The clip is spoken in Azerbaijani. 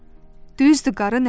Düzdü qarı nənə.